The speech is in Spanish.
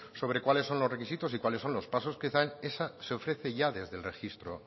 sobre cuáles son los requisitos y cuáles son los pasos que dan esa se ofrece ya desde el registro